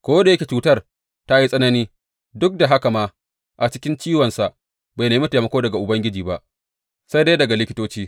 Ko da yake cutar ta yi tsanani, duk d haka ma a cikin ciwonsa bai nemi taimako daga Ubangiji ba, sai dai daga likitoci.